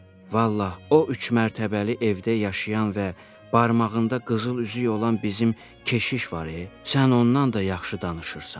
Vallahi, o üç mərtəbəli evdə yaşayan və barmağında qızıl üzük olan bizim keşiş var e, sən ondan da yaxşı danışırsan.